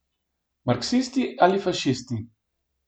Marksisti ali fašisti.